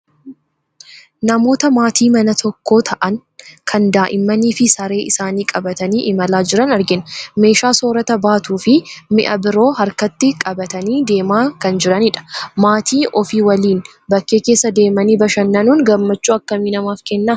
Namoota maatii mana tokkoo ta'an, kan daa'immanii fi saree isaanii qabatanii imalaa jiran argina. Meeshaa soorata baatuu fi mi'a biroo harkatti qabatanii deemaa kan jiranidha. Maatii ofii waliin bakkee keessa deemanii bashannanuun gammachuu akkamii namaaf kenna?